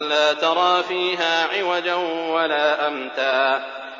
لَّا تَرَىٰ فِيهَا عِوَجًا وَلَا أَمْتًا